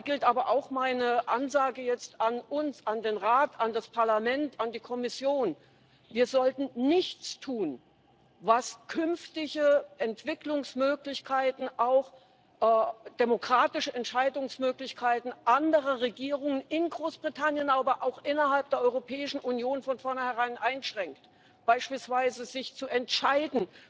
Da gilt aber auch meine Ansage an uns, an den Rat, an das Parlament, an die Kommission Wir sollten nichts tun, was künftige Entwicklungsmöglichkeiten, auch demokratische Entscheidungsmöglichkeiten anderer Regierungen in Großbritannien, aber auch innerhalb der Europäischen Union von vornherein einschränkt, beispielsweise sich zu entscheiden,